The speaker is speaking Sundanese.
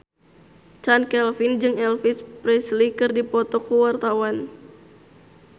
Chand Kelvin jeung Elvis Presley keur dipoto ku wartawan